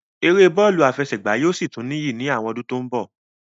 Eré bọ́lù àfẹsẹ̀gbá yóò sì tún níyì ní àwọn ọdún tí ó ń bọ̀